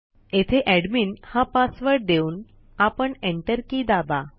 येथे एडमिन हा पासवर्ड देऊन आपण एंटर की दाबा